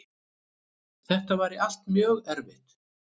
Þetta væri allt saman mjög erfitt